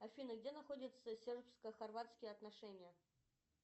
афина где находятся сербско хорватские отношения